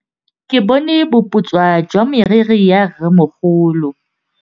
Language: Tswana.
Ke bone boputswa jwa meriri ya rrêmogolo.